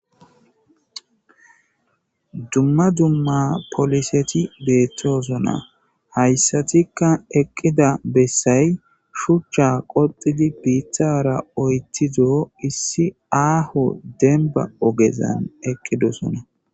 Dumma dumma poliseti beettoosonna hayssatikka eqqida bessay shuchcha qoxidi biiththara oytido issi aaho denba ogezan eqqidosona